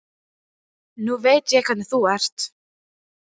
Nú veit ég hvernig þú ert!